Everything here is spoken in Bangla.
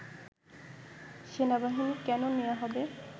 “সেনাবাহিনী কেন নেয়া হবে